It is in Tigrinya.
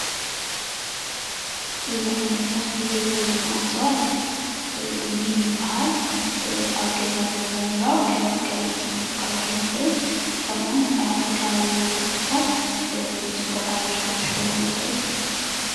እዚ ዓይነት ተኽሊ ወይድማ እፅዋት ኒም ይበሃል ኣብ ገዛ ብምርብራብ ከም መጋየፂ ክንጥቀመሉ ንክእል ከምኡ እዉን ኣብ ከባቢና ብምትካል ፅቡቅ ኣየር ክንስሕበሉ ንኽእል።